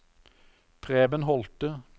Preben Holte